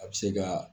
A bɛ se ka